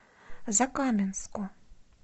закаменску